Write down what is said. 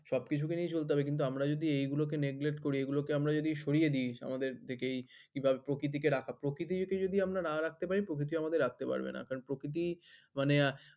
সবকিছু কে নিয়ে চলতে হবে কিন্তু আমরা যদি এইগুলো কে neglect করি এইগুলো কে আমরা যদি সরিয়ে দি আমাদের দিকেই কিংবা প্রকৃতি কে রাখা, প্রকৃতি কে যদি আমরা না রাখতে পার প্রকৃতিও আমাদের রাখতে পারবে না কারণ প্রকৃতি মানে